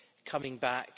coming back.